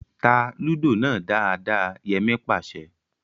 Tá Lúdò náà dáadáa! Yẹmí pàṣẹ